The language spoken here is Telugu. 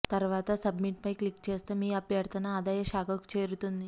తర్వాత సబ్మిట్ పై క్లిక్ చేస్తే మీ అభ్యర్థన ఆదాయ శాఖకు చేరుతుంది